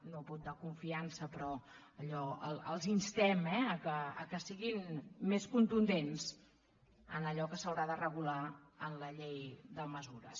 no vot de confiança però els instem que siguin més contundents en allò que s’haurà de regular en la llei de mesures